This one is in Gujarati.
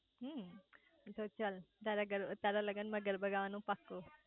હમમ તો ચાલ તારા લગન માં ગરબા ગાવા નું પાકુ